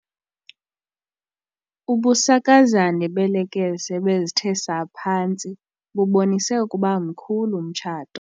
Ubusakazane beelekese ebezithe saa phantsi bubonise ukuba mkhulu umtshato.